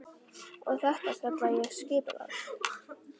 Og þetta kalla ég skipulag.